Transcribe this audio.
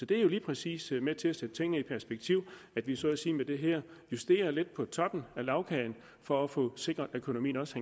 det er jo lige præcis med til at sætte tingene i perspektiv at vi så at sige med det her justerer lidt på toppen af lagkagen for at få sikret at økonomien også